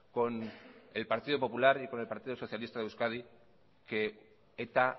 con el partido popular y con el partido socialista de euskadi que eta